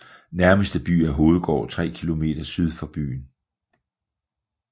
Nærmeste by er Hovedgård tre kilometer syd for byen